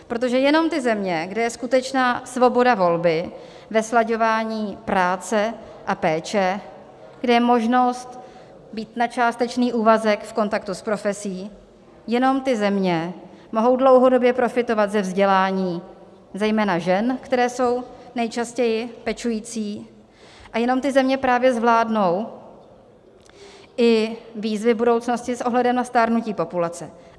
Protože jenom ty země, kde je skutečná svoboda volby ve slaďování práce a péče, kde je možnost být na částečný úvazek v kontaktu s profesí, jenom ty země mohou dlouhodobě profitovat ze vzdělání zejména žen, které jsou nejčastěji pečující, a jenom ty země právě zvládnou i výzvy budoucnosti s ohledem na stárnutí populace.